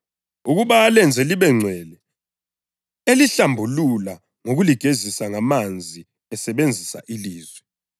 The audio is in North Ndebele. ukuba alenze libengcwele, elihlambulula ngokuligezisa ngamanzi esebenzisa ilizwi,